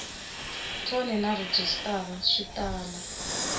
thoni na rhejisitara swi tala